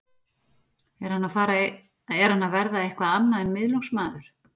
Er hann að fara að verða eitthvað annað en miðlungsmaður?